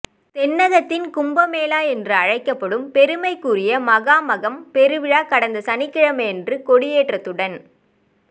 தென்னகத்தின் கும்பமேளா என்று அழைக்கப்படும் பெருமைக்குரிய மகாமகம் பெருவிழா கடந்த சனிக்கிழமையன்று கொடியேற்றத்துடன்